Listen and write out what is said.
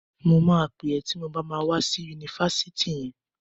Mo máa pẹ̀ ẹ́ ti mo bá ma wá sí Yunifásitì yẹn.